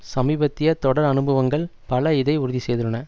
சமீபத்திய தொடர் அனுபவங்கள் பல இதை உறுதி செய்துள்ளன